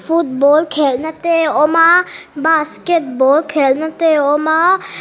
football khelhna te awm a basketball khelhna te awm a--